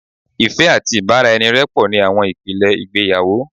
Ìfẹ́ àti ìbáraẹnirẹ́pọ̀ ni àwọn ìpìlẹ̀ ìgbéyàwó